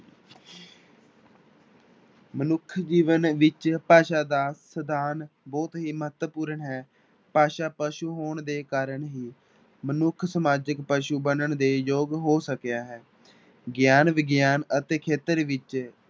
ਮਨੁੱਖੀ ਜੀਵਨ ਵਿੱਚ ਭਾਸ਼ਾ ਦਾ ਸਥਾਨ ਬਹੁਤ ਹੀ ਮਹੱਤਵਪੂਰਨ ਹੈ, ਭਾਸ਼ਾ ਪਸੂ ਹੋਣ ਦੇ ਕਾਰਨ ਹੀ ਮਨੁੱਖ ਸਮਾਜਿਕ ਪਸੂ ਬਣਨ ਦੇ ਯੋਗ ਹੋ ਸਕਿਆ ਹੈ, ਗਿਆਨ ਵਿਗਿਆਨ ਅਤੇ ਖੇਤਰ ਵਿੱਚ